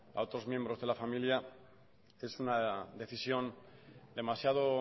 a otros miembros de la familia es una decisión demasiado